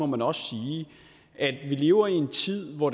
man også sige at vi lever i en tid hvor